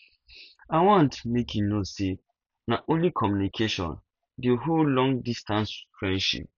i want make you know sey na only communication dey hold longdistance friendship